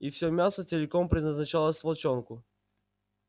и все мясо целиком предназначалось волчонку